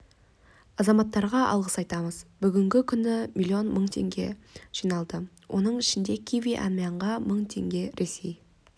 азаматтарға алғыс айтамыз бүгінгі күні миллион мың теңге жиналды оның ішінде киви-әмиянға мың теңге ресей